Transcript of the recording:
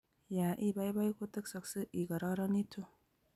ya I baibai kotesaksei I kararanitu